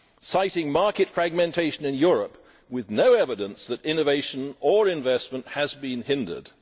citing market fragmentation in Europe with no evidence that innovation or investment has been hindered